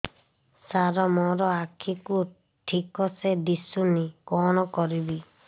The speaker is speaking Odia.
ସାର ମୋର ଆଖି କୁ ଠିକସେ ଦିଶୁନି କଣ କରିବି